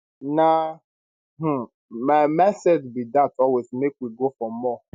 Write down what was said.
na um my mindset be dat always make we go for more